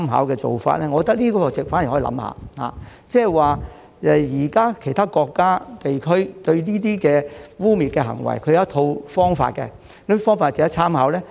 我覺得這做法反而可以考慮一下，即現時其他國家和地區對這些污衊行為有其一套方法，可研究哪些方法值得參考。